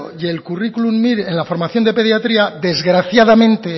y el currículum mir en la formación de pediatría desgraciadamente